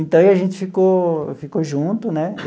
Então, e aí gente ficou ficou junto, né?